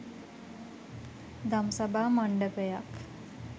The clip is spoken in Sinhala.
දම්සභා මණ්ඩපයක්